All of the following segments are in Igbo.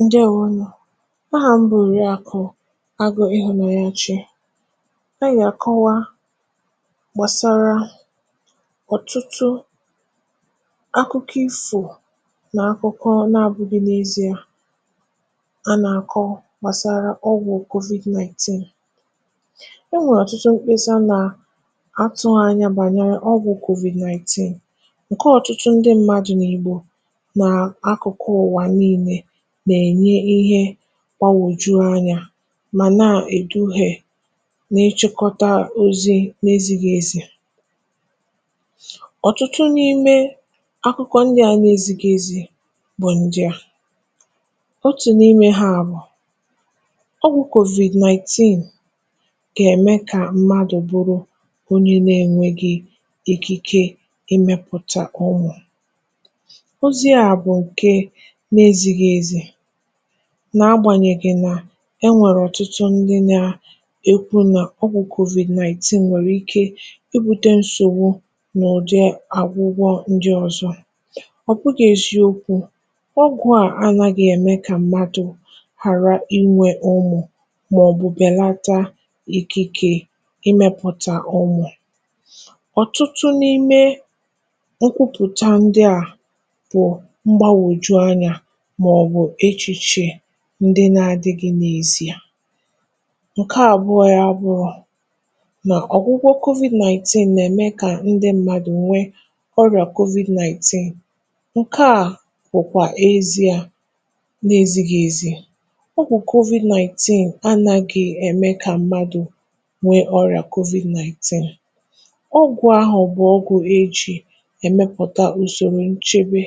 Ǹdèewònù. Ahà m bụ̀ Òrìàkụ̀ Àgụ̀ Ịhụ̀nàchèchè. Ànyị̀ gà-àkọwa gbàsàrà ọ̀tụtụ̀ akụkọ̀ ifò n’akụ̀kọ̀ n’abụghị̇ n’ezi̇e, a nà-àkọ̀ gbàsàrà ọ̀gwụ̀ COVID-nineteen. Ènwèrè ọ̀tụtụ̀ mkpèsà nà atụ̀ghị̇ ànyà bànyere ọ̀gwụ̀ COVID-nineteen, ǹkè ọ̀tụtụ̀ ndị mmadụ̀ nà Ìgbò kpà wùjụ ànyà, mà nà èdughè n’ịchịkọ̀tà ozi̇ n’ezìghị̇ ezi̇.Ọ̀tụtụ̀ n’ime àkụ̀kọ̀ ǹdị à n’ezìghị̇ ezi̇ bụ̀ ụgha. Òtù n’ime hà bụ̀ nà ọ̀gwụ̀ COVID-nineteen kà èmè kà mmadụ̀ bụrụ onye nà-ènwèghì̇ àkìkè imepụ̀tà ọnwụ̇. N’agbànyèghì̇ nà ènwèrè ọ̀tụtụ̀ ndị nà-àsụ̀ n’ọ́kwú̇ nà COVID-nineteen nwèrè ike ibùtà nsògbù nà ụ̀dị̀ àgwụ̀gwọ̀ ǹdị ọ̀zọ̇, ọ̀ bụ̀gà ezi̇okwu̇ — ọ̀gwụ̀ à anà gà-èmè kà mmadụ̀ ghàrà ịnwụ̀ ụmụ̀, màọ̀bụ̀ bèlàtà àkìkè imepụ̀tà ụmụ̀.Ọ̀tụtụ̀ n’ime àkùpụ̀tà ǹdị à pụ̀ọ̀ n’aka ǹdị na-adì̇ gị̇ n’ezi̇ bụ̀ ụgha. Ǹkè àbụọ̇ ya bụ̀ nà ọ̀gwụ̀gwọ̀ COVID-nineteen nà-èmè kà ǹdị mmadụ̀ nwee ọrịa COVID-nineteen. Ǹkè à kwụ̀kwà ezi̇ à n’ezi̇. Ọ̀gwụ̀ COVID-nineteen anàghị̇ èmè kà mmadụ̀ nwee ọrịa COVID-nineteen. Ògụ̀ a hù bụ̀ ògụ̀ a nà-èmepụ̀tà ùsòrò nchebe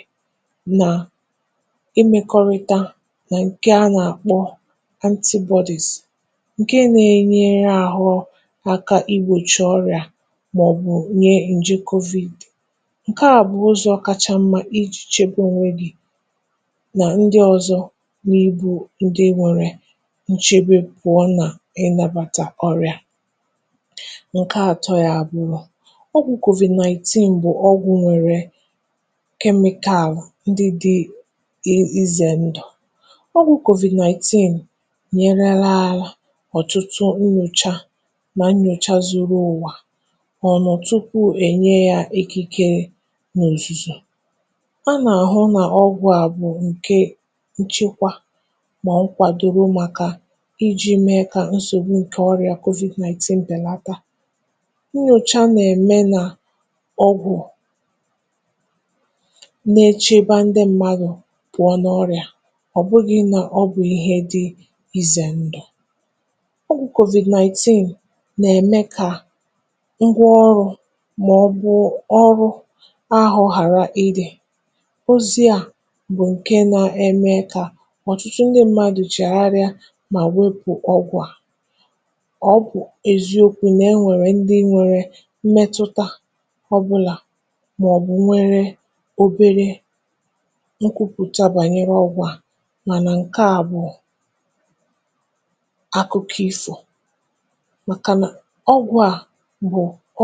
— ǹkè a nà-àkpọ̀ antibodies, ǹkè nà-ènýèrè àhụ̇ àkà igbochi ọrịa màọ̀bụ̀ inye njikovid. Ǹkè àbụọ̇ ụzọ̇ ọ̀kàchá mmà iji̇ chèkwàà onwe gị nà ǹdị ọzọ̇ n’ịbụ̀ ǹdị nwere ǹchẹ̀, bụ̀ iwepụ̀ nà ịnabàtà ọrịa. Ǹkè àtọ̇ ya bụ̀ nà ọ̀gwụ̀ COVID-nineteen bụ̀ ọ̀gwụ̀ nwèrè nchekwa. Ọ̀gwụ̀ COVID-nineteen nyere láà àlà ọ̀tụtụ̀ nnyòchà nà nnyòchà zuru ụ̀wà, kà ọ nọ̀ tupu ènyè ya ìkìkèrè n’òzùzò̇.A nà-àhụ nà ọ̀gwụ̀ à bụ̀ ǹkè nchekwà, mà ụ̀kwụ̀ à dòrò màkà iji̇ mèrè kà nsògbù ǹkè ọrịa COVID-nineteen bèlàtà. Nnyòchà nà-èmè nà ọ̀gwụ̀ na-echekwà ǹdị mmadụ̀ pụ̀ọ̀ n’ọ̀rịa, ọ̀ bụghị̇ nà ọ bụ̀ ihe dị̇ ize ǹdù. Ògụ̀ COVID-nineteen nà-èmè kà òrụ̇ àhụ̇ ghàrà ịdí̇, ọ̀ bụ̀ ozi̇ ụgha kà ọ̀tụtụ̀ ǹdị mmadụ̀ chèrè. N’ezi̇okwu̇,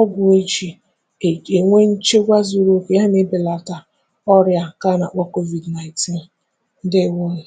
ọ̀gwụ̀ à nwèrè ǹchekwà zuru oke, nà e nà-ebelàtà ọrịa ǹkè a nà-àkpọ̀ COVID-nineteen. Ǹdèèwònù.